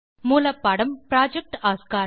மூலப்பாடம் project Oscar